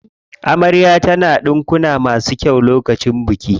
Amarya ta na ɗinkuna masu kyau lokacin bikin ta.